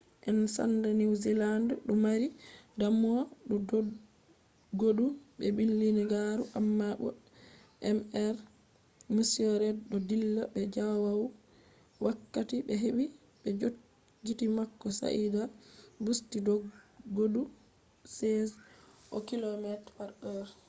en sanda new zealand du mari damuwa dou dodgodu be bindigaru amma bo mr reid do dilla be jawaul wakkati be hebi be jotgiti mako sai dah o bussti doddgodu 16okm/h